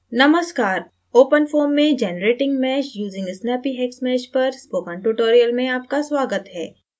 नमस्कार openfoam में generating mesh using snappyhexmesh पर spoken tutorial में आपका स्वागत है